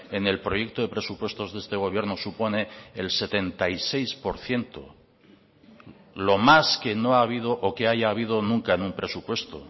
en el proyecto de presupuestos de este gobierno supone el setenta y seis por ciento lo más que no ha habido o que haya habido nunca en un presupuesto